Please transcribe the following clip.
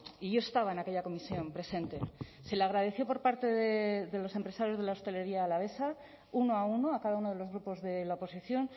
y yo estaba en aquella comisión presente se le agradeció por parte de los empresarios de la hostelería alavesa uno a uno a cada uno de los grupos de la oposición